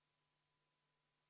Palun võtta seisukoht ja hääletada!